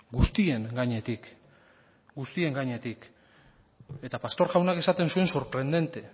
guztien gainetik guztien gainetik eta pastor jaunak esaten zuen sorprendente